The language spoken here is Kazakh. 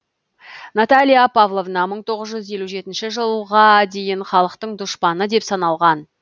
наталья павловна мың тоғыз жүз жылға дейін халықтың дұшпаны деп саналған